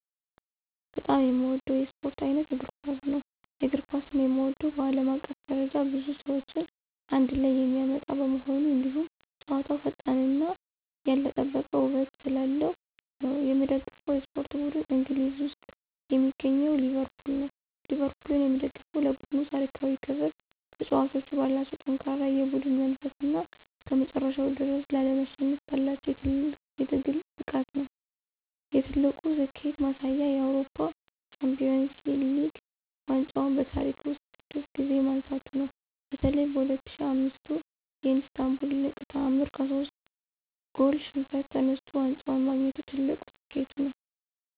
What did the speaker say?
በጣም የምወደው የስፖርት ዓይነት እግር ኳስ ነው። የእግር ኳስን የምወደው በዓለም አቀፍ ደረጃ ብዙ ሰዎችን አንድ ላይ የሚያመጣ በመሆኑ፣ እንዲሁም ጨዋታው ፈጣንነትና ያልተጠበቀ ውበት ስላለው ነው። የምደግፈው የስፖርት ቡድን እንግሊዝ ውስጥ የሚገኘው ሊቨርፑል ነው። ሊቨርፑልን የምደግፈው ለቡድኑ ታሪካዊ ክብር፣ ተጫዋቾቹ ባላቸው ጠንካራ የቡድን መንፈስና እስከመጨረሻው ድረስ ላለመሸነፍ ባላቸው የትግል ብቃት ነው። የትልቁ ስኬቱ ማሳያ የአውሮፓ ሻምፒዮንስ ሊግ ዋንጫን በታሪክ ውስጥ ስድስት ጊዜ ማንሳቱ ነው። በተለይ በ2005ቱ የኢስታንቡል ድንቅ ተዓምር ከሶስት ጎል ሽንፈት ተነስቶ ዋንጫውን ማግኘቱ ትልቁ ስኬቱ ነው።